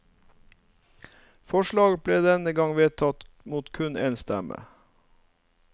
Forslaget ble denne gang vedtatt mot kun en stemme.